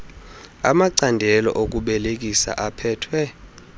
amacandelo okubelekisa aphethwe